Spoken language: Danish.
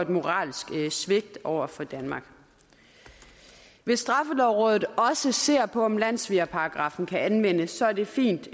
moralsk svigt over for danmark hvis straffelovrådet også ser på om landssvigerparagraffen kan anvendes så er det fint